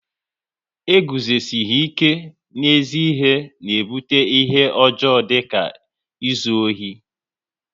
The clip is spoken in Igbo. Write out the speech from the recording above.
E guzosihi ike n'ezi ihe na ebute ihe ọjọọ dịka izu ohi